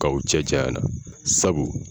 K'aw cɛ janyana sabu.